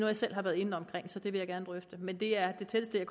jeg selv har været inde omkring så det vil jeg gerne drøfte men det er det tætteste jeg